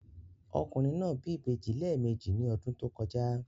Ọkùnrin náà bí ìbejì lẹ́ẹ̀mejì ní ọdún tó kọjá.